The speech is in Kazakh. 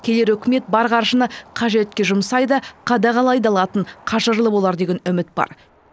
келер үкімет бар қаржыны қажетке жұмсай да қадағалай да алатын қажырлы болар деген үміт бар